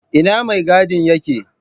Ina mai gadin yake?